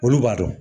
Olu b'a dɔn